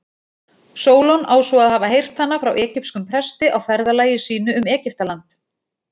Sólon á svo að hafa heyrt hana frá egypskum presti á ferðalagi sínu um Egyptaland.